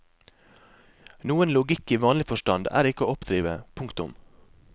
Noen logikk i vanlig forstand er ikke å oppdrive. punktum